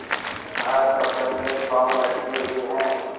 कहाकब्र में पाँव लटके हुए हैं